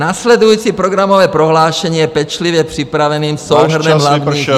Následující programové prohlášení je pečlivě připraveným souhrnem hlavních -